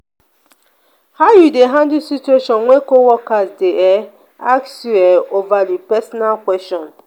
how you dey handle situation when co-worker dey um ask you um overly personal question?